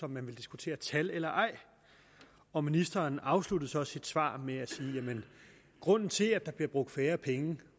man ville diskutere tal eller ej og ministeren afsluttede så sit svar med at grunden til at der bliver brugt færre penge